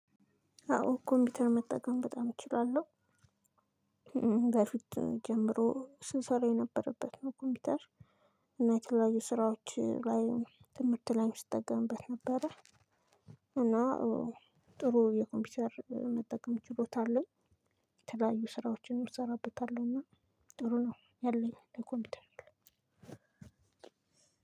አዎ ኮምፒውተር መጠቀም በጣም እችላለሁ። በፊት ጀምሮ ስንሰራ የነበረበት ነው ኮምፒውተር እና የተለያዩ ስራዎች ላይ ትምህርት ላይ ስጠቀምበት ነበረ። እና ጥሩ የኮምፒውተር መጠቀም ችሎታ አለኝ። የተለያዩ ስራዎችን እሰራበታለሁ እና ጥሩ ነው ያለኝ ለኮምፒውተር።